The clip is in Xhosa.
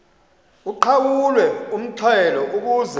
uqhawulwe umxhelo ukuze